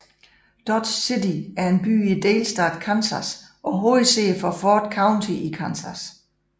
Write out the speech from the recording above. Dodge City er en by i delstaten Kansas og hovedsæde for Ford County i Kansas